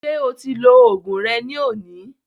Ṣé o ti lo oògùn rẹ ní òní?